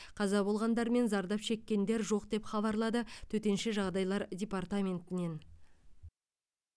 қаза болғандар мен зардап шеккендер жоқ деп хабарлады төтенше жағдайлар департаментінен